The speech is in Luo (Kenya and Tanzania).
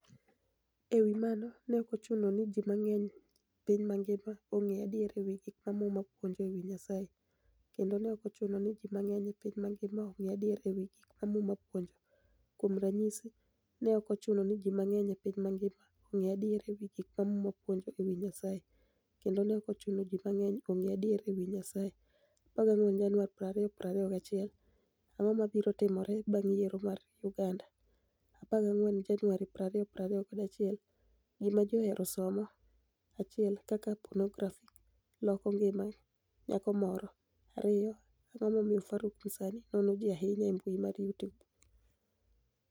E wi mano, ni e ok ochuno nii ji manig'eniy e piniy manigima onig'e adiera e wi gik ma muma puonijo e wi niyasaye, kenido ni e ok ochuno nii ji manig'eniy e piniy manigima onig'e adiera e wi gik ma Muma puonijo. Kuom raniyisi, ni e ok ochuno nii ji manig'eniy e piniy manigima onig'e adiera e wi gik ma Muma puonijo e wi niyasaye, kenido ni e ok ochuno nii ji manig'eniy onig'e adiera e wi niyasaye. 14 Janiuar 2021 Anig'o mabiro timore banig' yiero mar Uganida? 14 Janiuar 2021 Gima Ji Ohero Somo 1 Kaka Ponografi noloko nigima niyako Moro 2 Anig'o Momiyo Faruk Msanii nono ji ahiniya e mbui mar youtube?